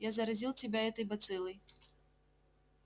я заразил тебя этой бациллой